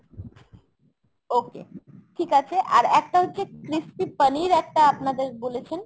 okay ঠিক আছে। আর একটা হচ্ছে crispy পনির একটা আপনাদের বলেছেন।